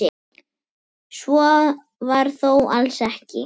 Svo var þó alls ekki.